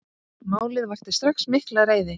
Málið vakti strax mikla reiði.